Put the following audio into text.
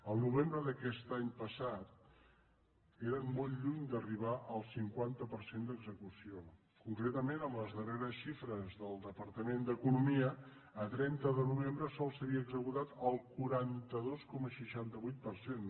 el novembre d’aquest any passat eren molt lluny d’ar·ribar al cinquanta per cent d’execució concretament amb les darreres xifres del departament d’economia a trenta de novembre només s’havia executat el quaranta dos coma seixanta vuit per cent